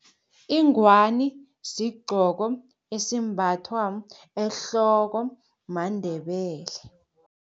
Ingwani sigcoko esimbathwa ehloko maNdebele.